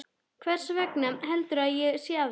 Hversvegna heldurðu að ég sé að því?